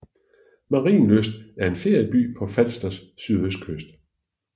Marielyst er en ferieby på Falsters sydøstkyst